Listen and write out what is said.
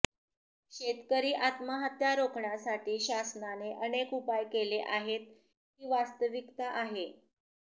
शेतकरी आत्महत्या रोखण्यासाठी शासनाने अनेक उपाय केले आहेत ही वास्तविकता आहे